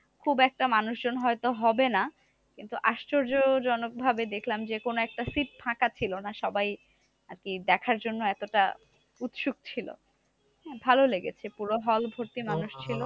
খুব একটা মানুষজন হয়তো হবে না? কিন্তু আশ্চর্যজনক ভাবে দেখলাম যে কোনো একটা seat ফাঁকা ছিল না। সবাই আরকি দেখার জন্য এতটা উৎসুক ছিল। ভালো লেগেছে পুরো hall ভর্তি মানুষ ছিল।